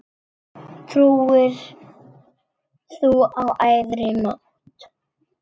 Trúir þú á æðri mátt?